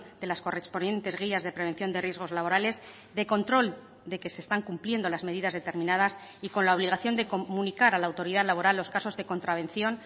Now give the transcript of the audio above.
de las correspondientes guías de prevención de riesgos laborales de control de que se están cumpliendo las medidas determinadas y con la obligación de comunicar a la autoridad laboral los casos de contravención